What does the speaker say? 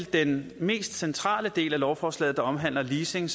den mest centrale del af lovforslaget der omhandler leasing